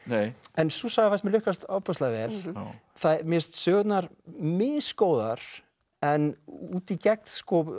en sú saga fannst mér lukkast ofboðslega vel mér finnst sögurnar misgóðar en út í gegn